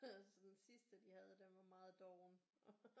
Den sidste de havde den var meget doven